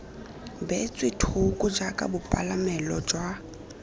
beetswe thoko jaaka bopalamelo jwa